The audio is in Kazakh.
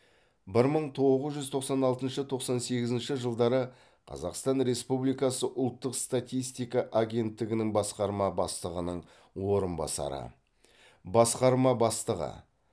бір мың тоғыз жүз тоқсан алтыншы тоқсан сегізінші жылдары қазақстан республикасы ұлттық статистика агенттігінің басқарма бастығының орынбасары басқарма бастығы